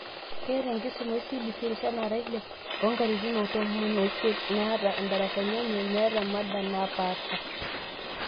Keeta enkisuma eCBC, irishat naara ile, oonkatitin tomom oisist, neeta ndarasani enye neeta mada naapasha.